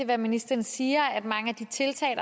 hvad ministeren siger nemlig at mange af de tiltag